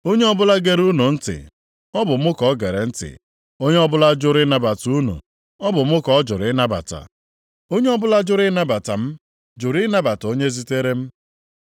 “Onye ọbụla gere unu ntị, ọ bụ mụ ka o gere ntị. Onye ọbụla jụrụ ịnabata unu, ọ bụ mụ ka ọ jụrụ ịnabata. Onye ọbụla jụrụ ịnabata m jụrụ ịnabata onye zitere m.”